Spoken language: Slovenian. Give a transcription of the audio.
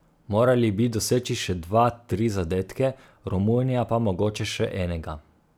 Morali bi doseči še dva, tri zadetke, Romunija pa mogoče še enega.